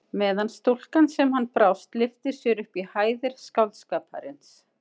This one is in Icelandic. Meðan stúlkan sem hann brást lyftir sér upp í hæðir skáldskaparins.